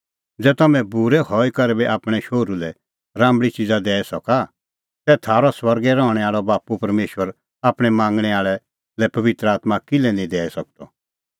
ज़ै तम्हैं बूरै हई करै बी आपणैं शोहरू लै राम्बल़ी च़िज़ा दैई सका तै थारअ स्वर्गे रहणैं आल़अ बाप्पू परमेशर आपणैं मांगणैं आल़ै लै पबित्र आत्मां किल्है निं दैई सकदअ